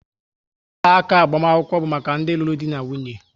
Ọla áká agbamakwụkwọ bu maka ndi lụrụ di na nwunye